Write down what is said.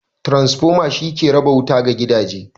Transformer shi ke raba wuta ga gidaje.